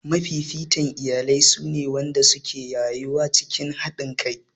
Mafifitan iyalai su ne waɗanda suke rayuwa cikin haɗinkai